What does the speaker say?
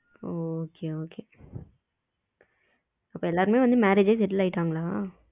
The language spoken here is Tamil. okay okay எல்லோருமே வந்து marriage ஆகி settled ஆகிட்டாங்களா?